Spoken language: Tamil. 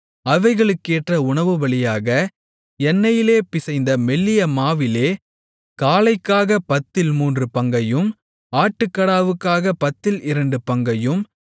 அவைகளுக்கேற்ற உணவுபலியாக எண்ணெயிலே பிசைந்த மெல்லிய மாவிலே காளைக்காகப் பத்தில் மூன்று பங்கையும் ஆட்டுக்கடாவுக்காகப் பத்தில் இரண்டு பங்கையும்